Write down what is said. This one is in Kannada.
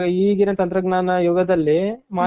ಇವಾಗ ಈಗಿನ ತಂತ್ರಜ್ಞಾನ ಯುಗದಲ್ಲಿ